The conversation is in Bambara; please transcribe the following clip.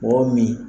O min